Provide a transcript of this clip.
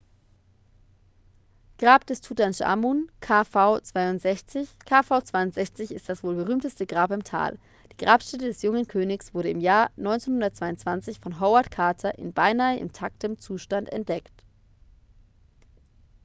grab des tutanchamun kv62. kv62 ist das wohl berühmteste grab im tal. die grabstätte des jungen königs wurde im jahr 1922 von howard carter in beinahe intaktem zustand entdeckt